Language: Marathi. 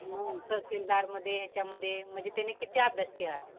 हूं तहसीलदारमध्ये, याच्यामध्ये म्हणजे त्यांनी किती अभ्यास केला असन?